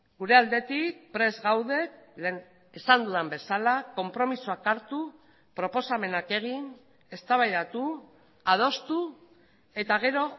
gure aldetik prest gaude lehen esan dudan bezala konpromisoak hartu proposamenak egin eztabaidatu adostu eta gero